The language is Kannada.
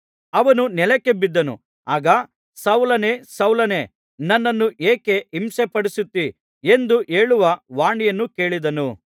ಅವನು ನೆಲಕ್ಕೆ ಬಿದ್ದನು ಆಗ ಸೌಲನೇ ಸೌಲನೇ ನನ್ನನ್ನು ಏಕೆ ಹಿಂಸೆಪಡಿಸುತ್ತೀ ಎಂದು ಹೇಳುವ ವಾಣಿಯನ್ನು ಕೇಳಿದನು